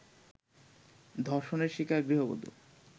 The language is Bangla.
ধর্ষণের শিকার গৃহবধূ